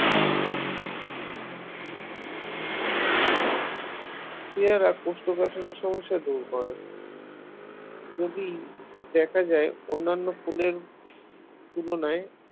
পেয়ারা কোষ্ঠকাঠিন্য সমস্যা দূর করে যদি দেখা যায় অন্যান্য ফুলের তুলনায়